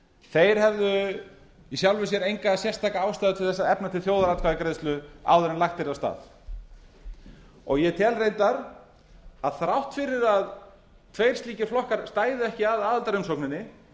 þeir hefðu í sjálfu sér enga sérstaka ástæðu til að efna til þjóðaratkvæðagreiðslu áður en lagt yrði af stað ég tel reyndar að þrátt fyrir að tveir slíkir flokkar stæðu ekki að aðildarumsókninni